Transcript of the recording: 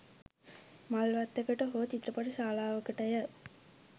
මල් වත්තකට හෝ චිත්‍රපට ශාලාවකටය